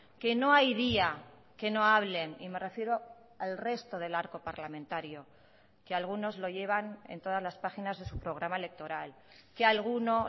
que no hay día que no hablen y me refiero al resto del arco parlamentario que algunos lo llevan en todas las páginas de su programa electoral que alguno